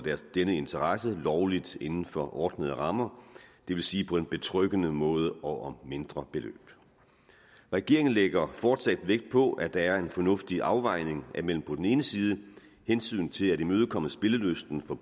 denne interesse lovligt inden for ordnede rammer det vil sige på en betryggende måde og om mindre beløb regeringen lægger fortsat vægt på at der er en fornuftig afvejning mellem på den ene side hensynet til at imødekomme spillelysten for